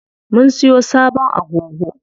Mun siyo sabon agogo.